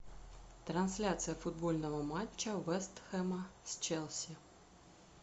трансляция футбольного матча вест хэма с челси